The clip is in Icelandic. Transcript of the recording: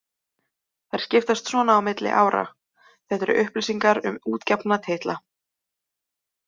Þær skiptast svona á milli ára: Þetta eru upplýsingar um útgefna titla.